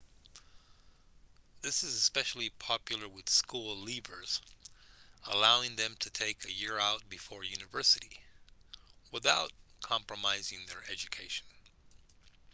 this is especially popular with school leavers allowing them to take a year out before university without compromising their education